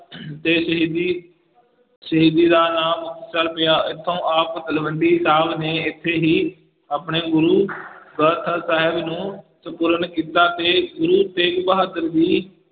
ਦੇ ਸ਼ਹੀਦੀ ਸ਼ਹੀਦੀ ਨਾਲ ਨਾਂ ਮੁਕਤਸਰ ਪਿਆ ਇੱਥੋਂ ਆਪ ਤਲਵੰਡੀ ਨੇ ਇੱਥੇ ਹੀ ਆਪਣੇ ਗੁਰੂ ਸਾਹਿਬ ਨੂੰ ਸਪੂਰਨ ਕੀਤਾ ਤੇ ਗੁਰੂ ਤੇਗ ਬਹਾਦਰ ਜੀ